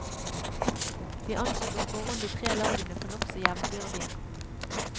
Vi anså på forhånd de tre lagene for nokså jevnbyrdige.